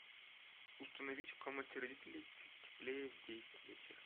установить в комнате родителей чуть теплее в десять вечера